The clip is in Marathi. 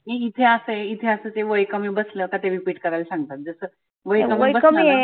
इथे असं आहे इथे वय कमी बसल ते repeat करायला सांगतात. जसं वय